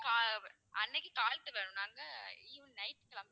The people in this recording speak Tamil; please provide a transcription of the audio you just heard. ஆஹ் அன்னைக்கு நாங்க evening night கிளம்புறோம்.